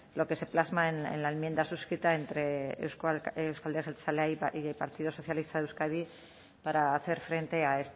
lo que se plasma en la enmienda suscrita entre euzko alderdi jeltzalea y el partido socialista de euskadi para hacer frente a